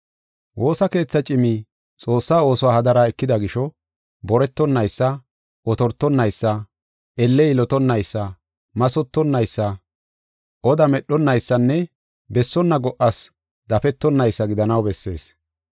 Woosa keetha cimi Xoossaa oosuwa hadara ekida gisho, boretonaysa, otortonaysa, elle yilotonnaysa, mathotonaysa, oda medhonaysanne bessonna go77as dafetonaysa gidanaw bessees.